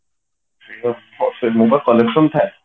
correction ଥାଏ